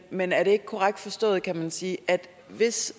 men er det ikke korrekt forstået kan man sige at hvis